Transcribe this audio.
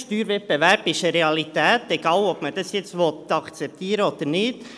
Steuerwettbewerb ist eine Realität, egal ob man das nun akzeptieren will oder nicht.